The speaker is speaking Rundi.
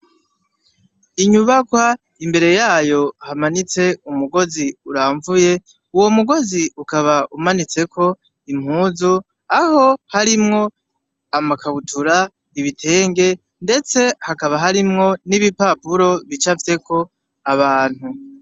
inyubakwa imbere yayo hamanitse umugozi uramvuye uwo mugozi ukaba umanitseko impuzu aho harimwo amakabutura ibitenge ndetse hakaba harimwo n'ibipapuro bicafyeko abantu